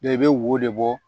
i bɛ wo de bɔ